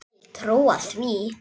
Vil trúa því.